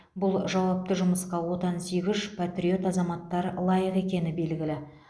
бұл жауапты жұмысқа отансүйгіш патриот азаматтар лайық екені белгілі